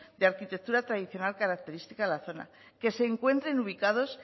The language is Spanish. de arquitectura tradicional característica de la zona que se encuentren ubicados